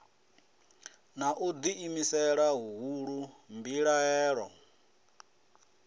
na u ḓiimisela huhulu mbilahelo